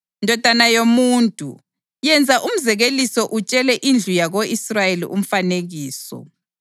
“Ndodana yomuntu, yenza umzekeliso utshele indlu yako-Israyeli umfanekiso.